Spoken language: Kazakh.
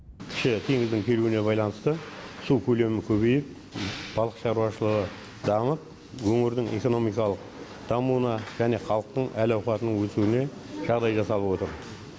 кіші теңіздің келуіне байланысты су көлемі көбейіп балық шаруашылығы дамып өңірдің экономикалық дамуына және халықтың әл ауқатының өсуіне жағдай жасалып отыр